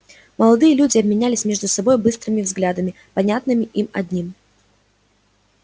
молодые люди обменялись между собой быстрыми взглядами понятными им одним